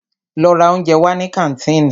Lọ ra óúnjẹ wá ní kàńtìnì!